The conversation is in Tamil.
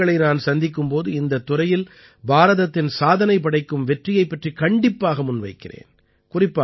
உலக மக்களை நான் சந்திக்கும் போது இந்தத் துறையில் பாரதத்தின் சாதனைபடைக்கும் வெற்றியைப் பற்றிக் கண்டிப்பாக முன்வைக்கிறேன்